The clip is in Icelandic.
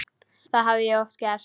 Það hafði ég oft gert.